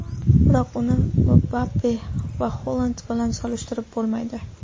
Biroq uni Mbappe va Holand bilan solishtirib bo‘lmaydi.